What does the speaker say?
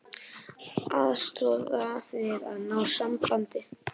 Aðstoða við að ná sambandi